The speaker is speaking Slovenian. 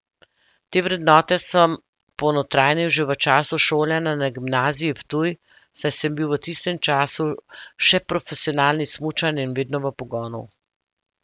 Te vrednote sem ponotranjil že v času šolanja na Gimnaziji Ptuj, saj sem bil v tistem času še profesionalni smučar in vedno v pogonu.